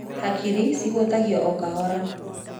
Hakiri cihutagio o kahora.